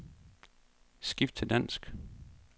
Skift til dansk.